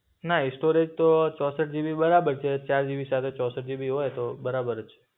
ના સ્ટોરેજ તો ચોસઠ GB બરાબર છે. ચાર GB સાથે ચોસઠ GB હોય તો બરાબરજ